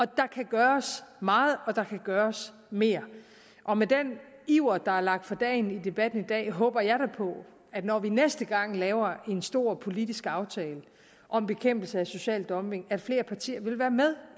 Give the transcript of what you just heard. der kan gøres meget og der kan gøres mere og med den iver der er lagt for dagen i debatten i dag håber jeg da på at når vi næste gang laver en stor politisk aftale om bekæmpelse af social dumping så vil flere partier være med